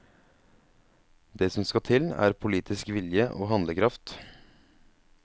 Det som skal til, er politisk vilje og handlekraft.